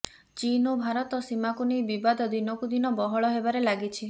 ଚୀନ ଓ ଭାରତ ସୀମାକୁ ନେଇ ବିବାଦ ଦିନକୁ ଦିନ ବହଳ ହେବାରେ ଲାଗିଛି